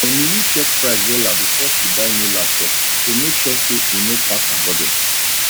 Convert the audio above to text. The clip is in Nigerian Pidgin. emily check price wella before she buy new laptop to make sure say e no pass her budget